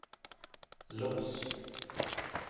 lås